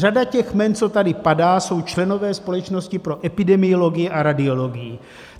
Řada těch jmen, co tady padá, jsou členové Společnosti pro epidemiologii a radiologii.